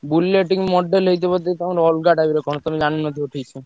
Bullet model ହେଇଥିବ ଯଦି ତାଙ୍କର ଅଲଗା type ର କଣ ତମେ ଜାଣିନଥିବ ଠିକ୍ ସେ।